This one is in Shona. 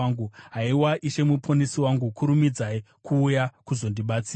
Haiwa Ishe Muponesi wangu, kurumidzai kuuya kuzondibatsira.